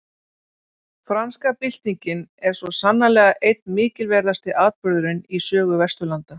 Franska byltingin er svo sannarlega einn mikilverðasti atburðurinn í sögu Vesturlanda.